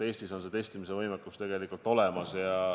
Eestis on testimisvõimekus tegelikult olemas.